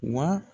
Wa